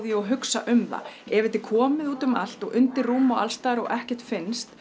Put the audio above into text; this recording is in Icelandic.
og hugsa um þær ef þetta er komið út um allt og undir rúm allstaðar og ekkert finnst